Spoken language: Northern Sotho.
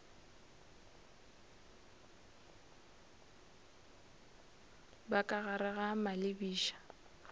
ba ka gare ga malebiša